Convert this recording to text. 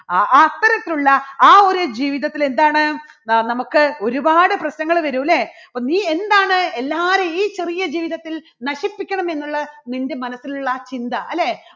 അ~അത്തരത്തിലുള്ള ആ ഒരു ജീവിതത്തിൽ എന്താണ് ആ നമുക്ക് ഒരുപാട് പ്രശ്നങ്ങൾ വരും അല്ലേ? നീ എന്താണ് എല്ലാരെയും ഈ ചെറിയ ജീവിതത്തിൽ നശിപ്പിക്കണം എന്നുള്ള നിൻറെ മനസ്സിലുള്ള ആ ചിന്ത, അല്ലേ?